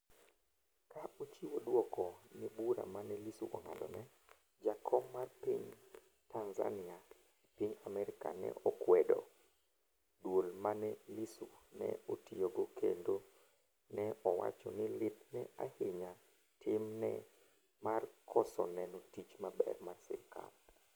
ka ochiwo dwoko ne bura mane lissu ong'adone, jakom mar piny Tanzania e piny Amerka ne okwedo duol mane Lissu ne otiyogo kendo ne owacho ni lith ne ahinya tim ne mar koso neno tich maber mar sirikal